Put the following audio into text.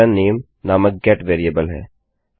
यह नामे नामक गेट वेरिएबल है